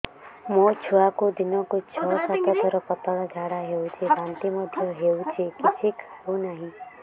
ମୋ ଛୁଆକୁ ଦିନକୁ ଛ ସାତ ଥର ପତଳା ଝାଡ଼ା ହେଉଛି ବାନ୍ତି ମଧ୍ୟ ହେଉଛି କିଛି ଖାଉ ନାହିଁ